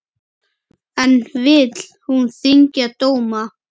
En vill hún þyngja dóma?